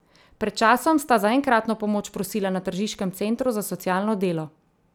Pred časom sta za enkratno pomoč prosila na tržiškem centru za socialno delo.